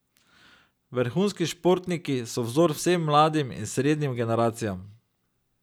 Vrhunski športniki so vzor vsem mladim in srednjim generacijam.